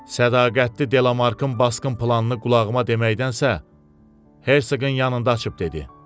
Sədaqətli Delamarkın basqın planını qulağıma deməkdənsə, Hersoqun yanında açıb dedi: